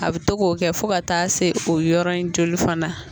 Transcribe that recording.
A bɛ to k'o kɛ fo ka taa se o yɔrɔn in joli fana na.